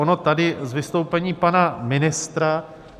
Ono tady z vystoupení pana ministra...